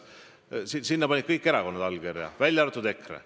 Sellele panid kõik erakonnad oma allkirja, välja arvatud EKRE.